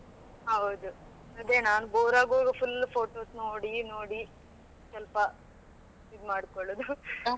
ಹೌದು ಅದೇ ನಾನು boar ಆಗುವಾಗ full photos ನೋಡಿ ನೋಡಿ ಸ್ವಲ್ಪ ಇದು ಮಾಡ್ಕೊಳ್ಳುವುದು.